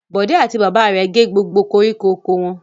Bọ̀dé àti bàbá rẹ̀ gé gbogbo koríko oko wọn.